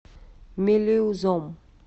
мелеузом